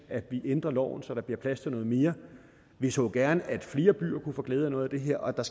at vi ændrer loven så der bliver plads til noget mere vi så gerne at flere byer kunne få glæde af noget af det her og at der